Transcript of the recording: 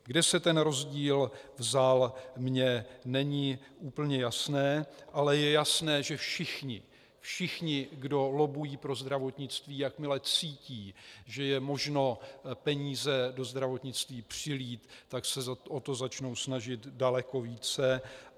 Kde se ten rozdíl vzal, mně není úplně jasné, ale je jasné, že všichni, kdo lobbují pro zdravotnictví, jakmile cítí, že je možno peníze do zdravotnictví přilít, tak se o to začnou snažit daleko více.